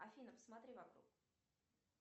афина посмотри вокруг